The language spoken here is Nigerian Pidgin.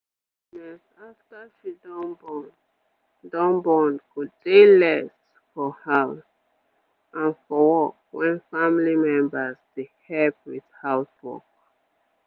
tiredness after she don born don born go dey less for house and for work wen family members dey help with house work